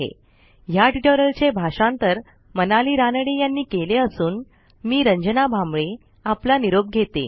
ह्या ट्युटोरियलचे भाषांतर मनाली रानडे यांनी केले असून मी रंजना भांबळे आपला निरोप घेते